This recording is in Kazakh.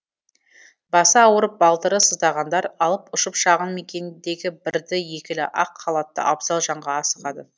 басы ауырып балтыры сыздағандар алып ұшып шағын мекендегі бірді екілі ақ халатты абзал жанға асығады